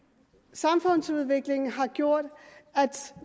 samfundsudviklingen har gjort at